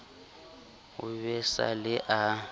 ho be sa le a